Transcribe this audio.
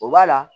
O b'a la